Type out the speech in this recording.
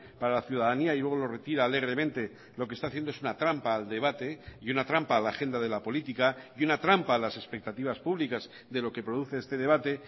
para la ciudadanía y luego lo retira alegremente lo que está haciendo es una trampa al debate y una trampa a la agenda de la política y una trampa a las expectativas públicas de lo que produce este debate